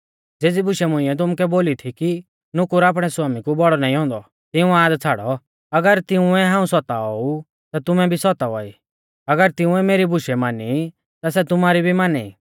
ज़ेज़ी बुशै मुंइऐ तुमुकै बोली थी कि नुकुर आपणै स्वामी कु बौड़ौ नाईं औन्दौ तिऊं याद छ़ाड़ौ अगर तिंउऐ हाऊं सताओ ऊ ता तुमु भी सौतावा ई अगर तिंउऐ मेरी बुशै मानी ई ता सै तुमारी भी माना ई